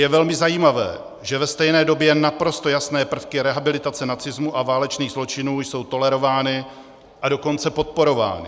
Je velmi zajímavé, že ve stejné době naprosto jasné prvky rehabilitace nacismu a válečných zločinů jsou tolerovány, a dokonce podporovány.